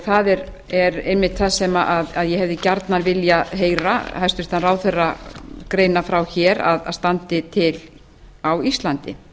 það er einmitt það sem ég hefði gjarnan viljað heyra hæstvirtur ráðherra greina frá hér að standi til á íslandi